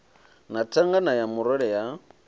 na thangana ya murole ya